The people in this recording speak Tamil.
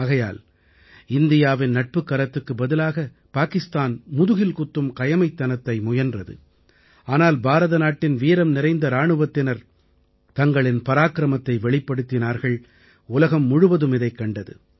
ஆகையால் இந்தியாவின் நட்புக் கரத்துக்குப் பதிலாக பாகிஸ்தானம் முதுகில் குத்தும் கயமைத்தனத்தை முயன்றது ஆனால் பாரதநாட்டின் வீரம் நிறைந்த இராணுவத்தினர் தங்களின் பராக்கிரமத்தை வெளிப்படுத்தினார்கள் உலகம் முழுவதும் இதைக் கண்டது